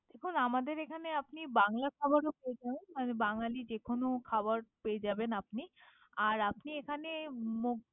দেখুন আমাদের এখানে আপনি বাংলা খাবার ও পেয়ে যাবেন মানে বাঙ্গালী যে কোন খাবার পেয়ে যাবেন আপনি। আর আপনি এখানে।